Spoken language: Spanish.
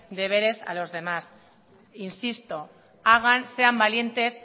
deberes a los demás insisto hagan y sean valientes